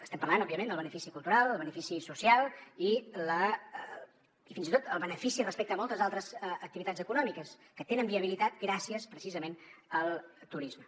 estem parlant òbviament del benefici cultural el benefici social i fins i tot el benefici respecte a moltes altres activitats econòmiques que tenen viabilitat gràcies precisament al turisme